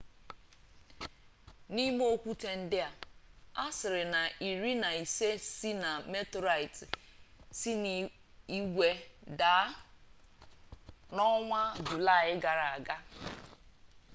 n'ime okwute ndi a asiri na iri na ise si na meterorite si na igwe daa n'onwa julai gara aga